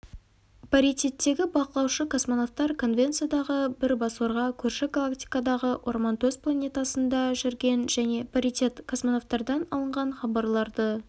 паритеттегі бақылаушы-космонавтар конвенциядағы бірбасорға көрші галактикадағы орман төс планетасында жүрген және паритет-космонавтардан алынған хабарларды